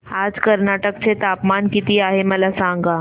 आज कर्नाटक चे तापमान किती आहे मला सांगा